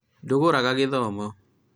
ndũgũraga gĩthomo?